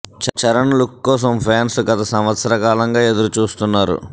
Charan look కోసం fans గత సంవత్సర కాలంగా ఎదురు చూస్తున్నారు